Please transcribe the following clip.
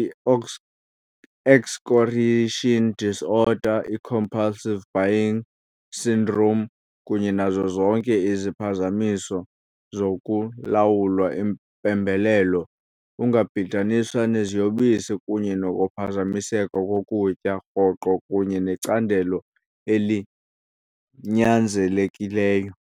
i-excoriation disorder, i-compulsive buying syndrome. kunye nazo zonke iziphazamiso zokulawula impembelelo, ungabhidaniswa neziyobisi kunye nokuphazamiseka kokutya, rhoqo kunye necandelo elinyanzelekileyo.